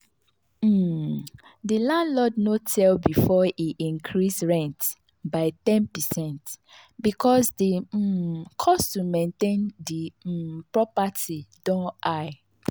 um the landlord no tell before e increase rent by ten percent because the um cost to maintain the um property don high.